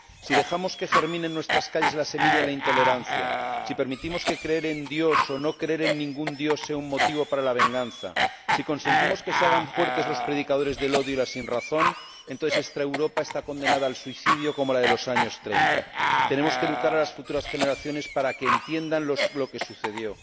Si dejamos que germine en nuestras calles la semilla de la intolerancia, si permitimos que creer en Dios o no creer en ningún dios sea un motivo para la venganza, si consentimos que se hagan fuertes los predicadores del odio y la sinrazón, entonces esta Europa está condenada al suicidio como la de los años 30. Tenemos que educar a las futuras generaciones para que entiendan lo que sucedió.